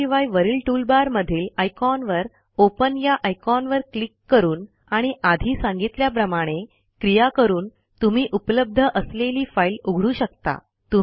त्याशिवाय वरील टूलबार मधील आयकॉनवर ओपन या आयकॉनवर क्लिक करून आणि आधी सांगितल्याप्रमाणे क्रिया करून तुम्ही उपलब्ध असलेली फाईल उघडू शकता